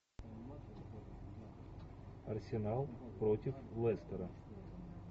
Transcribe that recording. арсенал против лестера